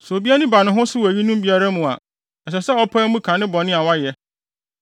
sɛ obi ani ba ne ho so wɔ eyinom biara mu a, ɛsɛ sɛ ɔpae mu ka ne bɔne a wayɛ.